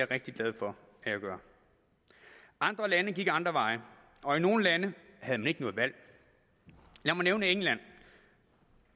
rigtig glad for at jeg gør andre lande gik andre veje og i nogle lande havde man ikke noget valg lad mig nævne england